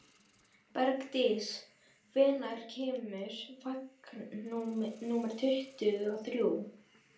Bergdís, hvenær kemur vagn númer tuttugu og þrjú?